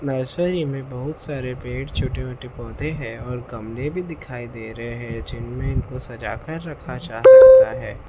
Nursery में बहुत सारे पेड़ छोटे मोटे पौधे हैं और गमले भी दिखाई दे रहे हैं जिनमें इनको सजा कर रखा जा सकता है।